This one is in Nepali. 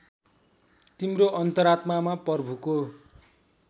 तिम्रो अन्तरात्मामा प्रभुको